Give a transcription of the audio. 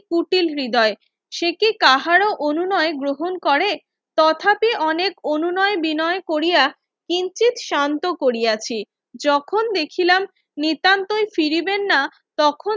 কুটিল হৃদয় সেকি কাহারো অনুনয় গ্রহণ করে তথাপি অনেক অনুনয় বিনয় কোরিয়া কিঞ্চিৎ শান্ত করিয়াছি যখন দেখিলাম নিত্যন্তই ফিরিবেন না তখন